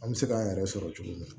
An bɛ se k'an yɛrɛ sɔrɔ cogo min na